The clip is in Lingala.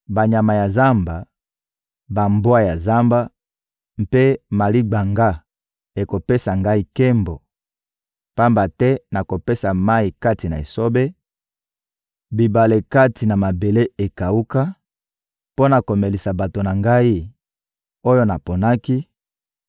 Banyama ya zamba, bambwa ya zamba mpe maligbanga ekopesa Ngai nkembo; pamba te nakopesa mayi kati na esobe, bibale kati na mabele ekawuka, mpo na komelisa bato na Ngai, oyo naponaki,